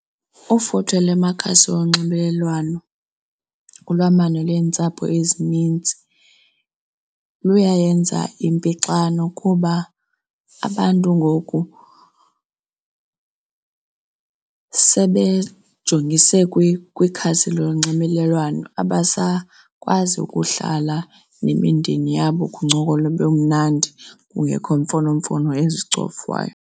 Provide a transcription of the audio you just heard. Ufuthe lwamakhasi onxibelelwano kulwamano lentsapho ezininzi luyayenza impixano kuba abantu ngoku sebejongise kwikhasi lonxibelelwano. Abasakwazi ukuhlala nemindeni yabo kuncokolwe kube mnandi kungekho mfonomfono ezizicofawayo.